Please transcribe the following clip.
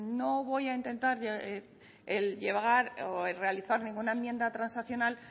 no voy a intentar el realizar ninguna enmienda transaccional